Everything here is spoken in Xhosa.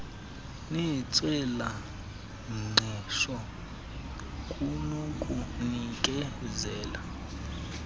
nentswela ngqesho kunokunikezela